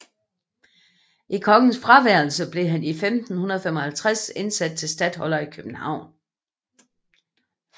I kongens fraværelse blev han 1555 indsat til statholder i København